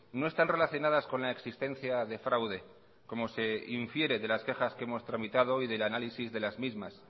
no están relacionadas con la existencia de fraude como se infiere de las quejas que hemos tramitado y del análisis de las mismas